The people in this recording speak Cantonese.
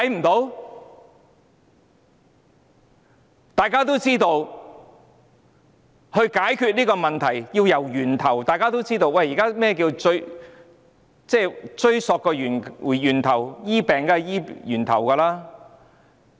大家也知道，解決這問題要從源頭着手，治病當然要追溯源頭，要從源頭開始治理。